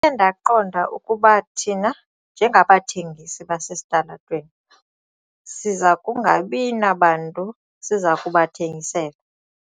ndaqonda ukuba thina njengabathengisi basesitalatweni siza kungabi nabantu siza kubathengisela.